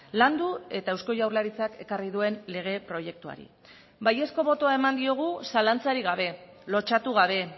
landu eta eusko jaurlaritzak ekarri duen lege proiektuari baiezko botoa eman diogu zalantzarik gabe lotsatu gabe